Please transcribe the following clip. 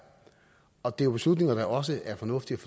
og det er jo beslutninger som det også er fornuftigt